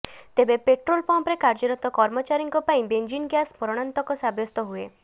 ତେବେ ପେଟ୍ରୋଲ୍ ପମ୍ପରେ କାର୍ଯ୍ୟରତ କର୍ମଚାରୀଙ୍କ ପାଇଁ ବେଞ୍ଜିନ୍ ଗ୍ୟାସ୍ ମରଣାନ୍ତକ ସାବ୍ୟସ୍ତ ହୁଏ